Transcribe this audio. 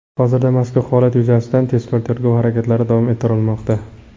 Hozirda mazkur holat yuzasidan tezkor-tergov harakatlari davom ettirilmoqda.